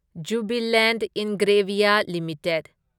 Jubilant Ingrevia limited